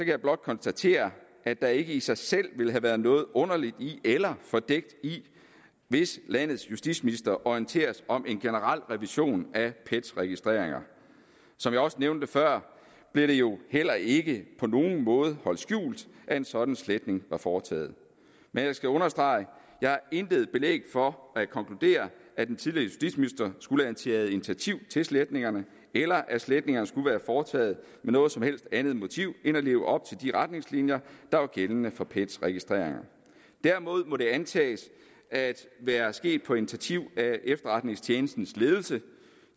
jeg blot konstatere at der ikke i sig selv ville have været noget underligt eller fordækt i hvis landets justitsminister orienteres om en generel revision af pets registreringer som jeg også nævnte før blev det jo heller ikke på nogen måde holdt skjult at en sådan sletning var foretaget men jeg skal understrege at jeg har intet belæg for at konkludere at en tidligere justitsminister skulle have taget initiativ til sletningerne eller at sletningerne skulle være foretaget med noget som helst andet motiv end at leve op til de retningslinjer der var gældende for pets registreringer derimod må det antages at være sket på initiativ af efterretningstjenestens ledelse